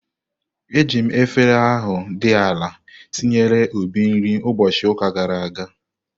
Eji efere ahu di ala ntinyere Obi nri ụbọchị ụka gara aga.